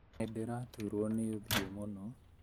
Nĩndĩraturũo nĩ ũthiũ mũno